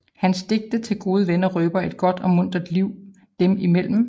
Hans digte til gode venner røber et godt og muntert liv dem imellem